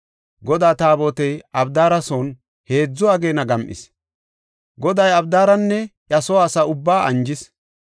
Godaa Taabotey Abidaara son heedzu ageena gam7is; Goday Abidaaranne iya soo asaa ubbaa anjis.